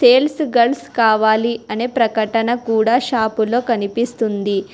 Sales girls కావాలి అనే ప్రకటన కూడా షాపులో కనిపిస్తుంది.